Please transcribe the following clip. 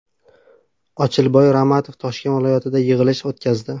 Ochilboy Ramatov Toshkent viloyatida yig‘ilish o‘tkazdi.